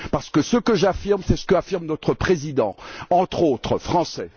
Parce que ce que j'affirme, c'est ce qu'affirme notre président, entre autres français.